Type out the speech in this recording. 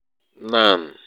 um nan um